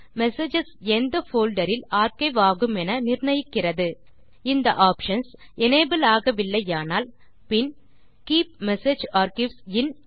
messages எந்த folder இல் archive ஆகுமென நிர்ணயிக்கிறது இந்த ஆப்ஷன்ஸ் எனபிள் ஆகவில்லையானால்பின் கீப் மெசேஜ் ஆர்க்கைவ்ஸ் இன்